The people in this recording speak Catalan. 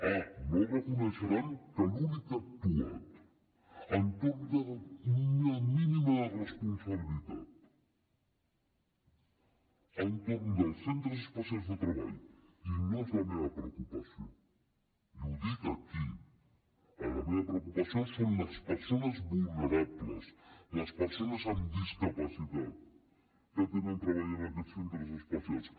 ah no reconeixeran que l’únic que ha actuat amb una mínima responsabilitat entorn dels centres especials de treball i no és la meva preocupació i ho dic aquí la meva preocupació són les persones vulnerables les persones amb discapacitat que tenen feina en aquests centres especials